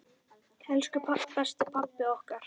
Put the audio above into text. Elsku besti pabbi okkar.